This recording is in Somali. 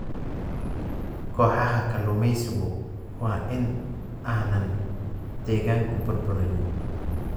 Kooxaha kalluumaysigu waa in aanay deegaanka burburin.